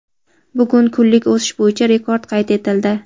Bugun kunlik o‘sish bo‘yicha rekord qayd etildi.